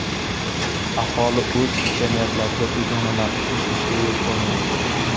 Aholi o‘z jamiyatlariga begonalarning qo‘shilishiga yo‘l qo‘ymaydi.